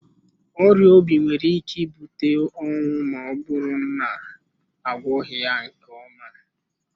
Ọrịa obi nwere ike ibute ọnwụ ma ọ bụrụ na agwọghị ya nke ọma.